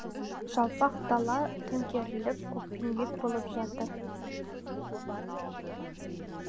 жалпақ дала төңкеріліп көкпеңбек болып жатыр